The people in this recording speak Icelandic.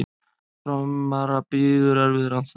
Framara bíður erfiður andstæðingur